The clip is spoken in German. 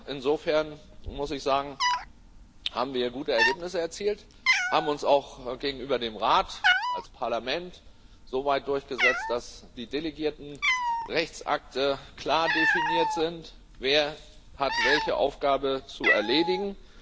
Insofern, muss ich sagen, haben wir gute Ergebnisse erzielt, haben uns als Parlament auch gegenüber dem Rat soweit durchgesetzt, dass die delegierten Rechtsakte klar definiert sind Wer hat welche Aufgabe zu erledigen?